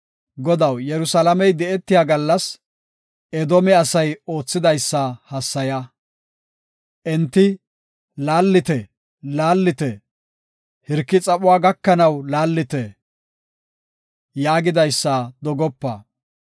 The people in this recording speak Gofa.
Godaw, Yerusalaame di7etiya gallas Edoome asay oothidaysa hassaya; Enti, “Laallite! Laallite! Hirki xaphuwa gakanaw laallite!” yaagidaysa dogopa.